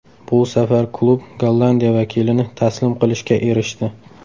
Bu safar klub Gollandiya vakilini taslim qilishga erishdi.